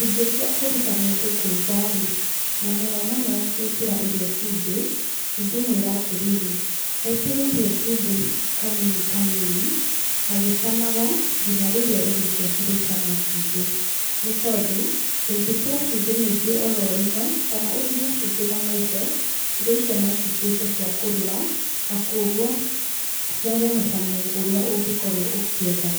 Ingĩtua kũruta mũndũ kũruga rĩ, na mũno mũno gwĩkĩra irio cumbĩ, ingĩmwĩra atĩrĩrĩ, ekĩre irio cumbĩ kanini kanini, agĩcamaga, nginya rĩrĩa irio cirĩcama cumbĩ. Nĩ tondũ, ũngĩkĩra cumbĩ mũingĩ oro rĩmwe, kana ũthime cumbĩ na maitho, irio icio no cituĩke cia kũrũra, na koguo ciage mũcamo ũrĩa ũngĩkorwo ũkĩenda.